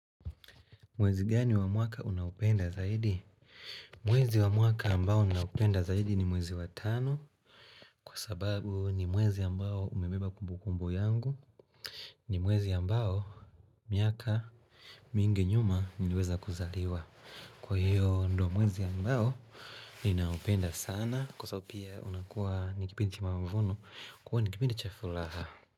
Mwezi gani wa mwaka unaupenda zaidi? Mwezi wamwaka ambao ninaupenda zaidi ni mwezi watano Kwa sababu ni mwezi ambao umebeba kumbukumbu yangu ni mwezi ambao miaka mingi nyuma niliweza kuzaliwa Kwa hiyo ndo mwezi ambao ninaupenda sana Kwa sababu pia unakuwa ni kipindi kimamavuno Kwa nikipindi chafuraha.